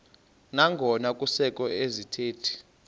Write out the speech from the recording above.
nangona kusekho izithethi